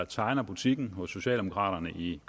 tegner butikken hos socialdemokraterne i